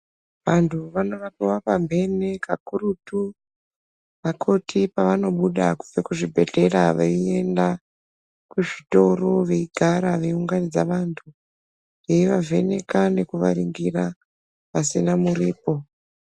Vantu vanorapiwa mamhene kakurutu vakoti pavanobuda kunze kwezvibhedhlera veienda kuzvitoro veigara veiunganidza vantu, veivavheneka nekuvaringira pasina muripo.